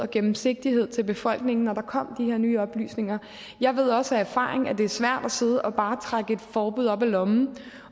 gennemsigtighed til befolkningen da der kom de her nye oplysninger jeg ved også af erfaring at det er svært at sidde og bare trække et forbud op af lommen